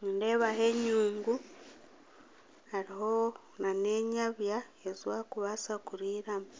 nindeebaho enyungu, hariho nana enyabya ezibarikubaasa kuriiramu.